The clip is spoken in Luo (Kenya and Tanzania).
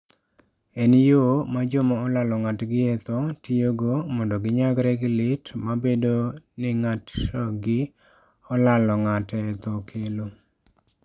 En yo ma joma olalo ng'atgi e tho tiyogo mondo ginyagre gi lit ma bedo ni ng'atgi olalo ng'ate e tho kelo.